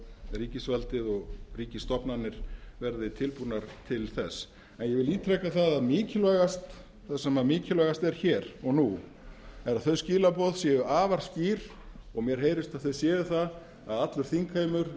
ríkisvaldið og ríkisstofnanir verði tilbúnar til þess en ég vil ítreka að það sem mikilvægast er hér og nú að þau skilaboð séu afar skýr og mér heyrist að þau séu það að allur þingheimur